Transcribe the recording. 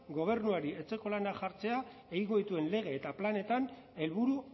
gobernuari etxeko lanak jartzea egingo dituen lege eta planetan helburu